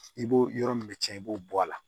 I b'o yɔrɔ min bɛ cɛn i b'o bɔ a la